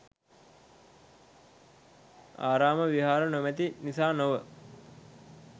ආරාම විහාර නොමැති නිසා නොව